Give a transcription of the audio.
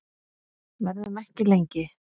Verðum ekki lengi.